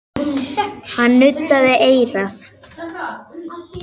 Hann nuddaði eyrað.